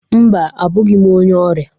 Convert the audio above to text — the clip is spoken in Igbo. Mba, abụghị m onye ọrịa.